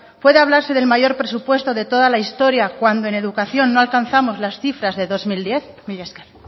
puede hablarse del mayor presupuesto de toda la historia cuando en educación no alcanzamos las cifras del dos mil diez mila esker